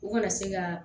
U kana se ka